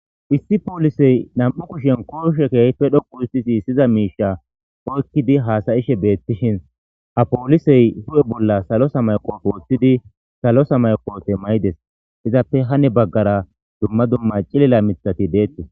Issi poolisey nam'u kushen kooshekehpe dhoqu uhistisi syiza miisha oykkidi haasayishe beettishin ha poolisey hu'e bolla salosa mayqofe woththidi salosa mayqofe maydes izappe hane baggara dumma dumma cilila mithati deettes.